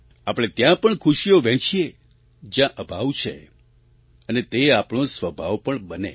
આપણે ત્યાં પણ ખુશીઓ વહેંચીએ જ્યાં અભાવ છે અને તે આપણો સ્વભાવ પણ બને